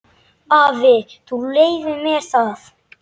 Afi, þú leyfir mér það.